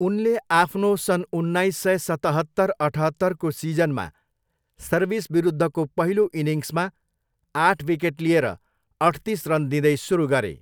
उनले आफ्नो सन् उन्नाइस सय सतहत्तर अठहत्तरको सिजनमा सर्भिस विरुद्धको पहिलो इनिङ्समा आठ विकेट लिएर अठतिस रन दिँदै सुरु गरे।